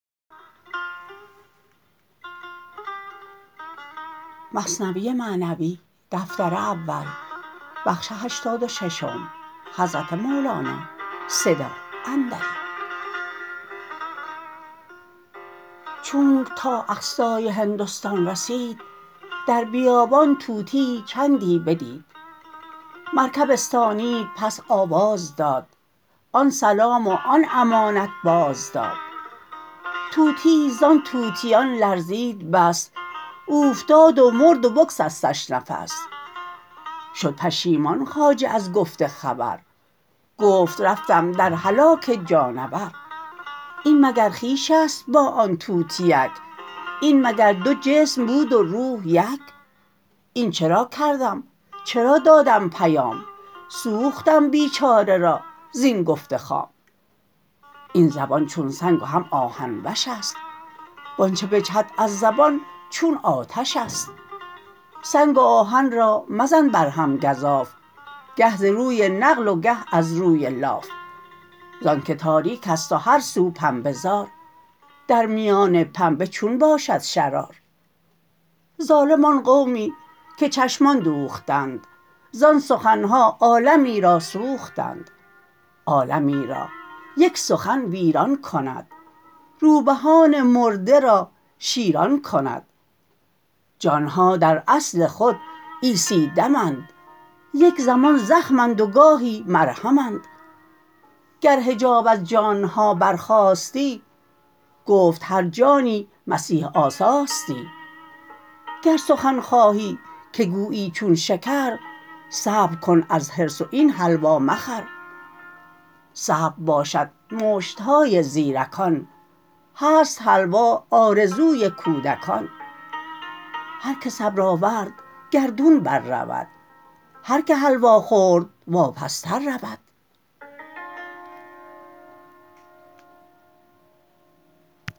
چونک تا اقصای هندستان رسید در بیابان طوطیی چندی بدید مرکب استانید پس آواز داد آن سلام و آن امانت باز داد طوطیی زان طوطیان لرزید بس اوفتاد و مرد و بگسستش نفس شد پشیمان خواجه از گفت خبر گفت رفتم در هلاک جانور این مگر خویشست با آن طوطیک این مگر دو جسم بود و روح یک این چرا کردم چرا دادم پیام سوختم بیچاره را زین گفت خام این زبان چون سنگ و هم آهن وشست وانچ بجهد از زبان چون آتشست سنگ و آهن را مزن بر هم گزاف گه ز روی نقل و گه از روی لاف زانک تاریکست و هر سو پنبه زار درمیان پنبه چون باشد شرار ظالم آن قومی که چشمان دوختند زان سخنها عالمی را سوختند عالمی را یک سخن ویران کند روبهان مرده را شیران کند جانها در اصل خود عیسی دمند یک زمان زخمند و گاهی مرهمند گر حجاب از جانها بر خاستی گفت هر جانی مسیح آساستی گر سخن خواهی که گویی چون شکر صبر کن از حرص و این حلوا مخور صبر باشد مشتهای زیرکان هست حلوا آرزوی کودکان هرکه صبر آورد گردون بر رود هر که حلوا خورد واپس تر رود